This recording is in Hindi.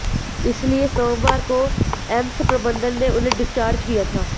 इसीलिए सोमवार को एम्स प्रबंधन ने उन्हें डिस्चॉर्ज किया था